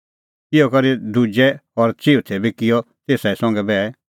इहअ करै दुजै और चिऊथै बी किअ तेसा संघै ई बैह